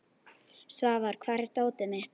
Svafar, hvar er dótið mitt?